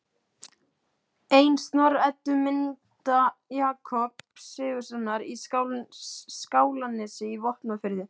Ennfremur voru áhrifin merkjanleg í borholum við Sauðárkrók.